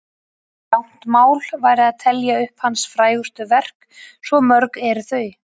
Of langt mál væri að telja upp hans frægustu verk, svo mörg eru þau.